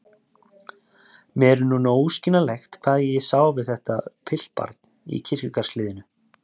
Mér er núna óskiljanlegt hvað ég sá við þetta piltbarn í kirkjugarðshliðinu.